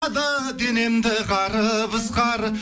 денемді қарып ызғары